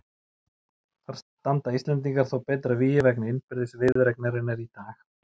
Þar standa Íslendingar þó betur að vígi vegna innbyrðis viðureignarinnar í dag.